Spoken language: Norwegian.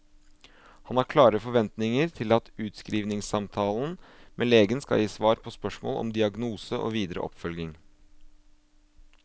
Han har klare forventninger til at utskrivningssamtalen med legen skal gi svar på spørsmål om diagnose og videre oppfølging.